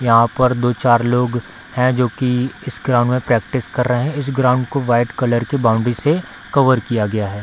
यहां पर दो-चार लोग हैं जो कि इस ग्राउंड में प्रैक्टिस कर रहे हैं इस ग्राउंड को व्हाइट कलर के बाउंड्री से कवर किया गया है।